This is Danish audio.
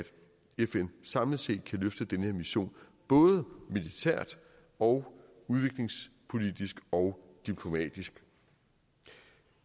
fn samlet set kan løfte den her mission både militært og udviklingspolitisk og diplomatisk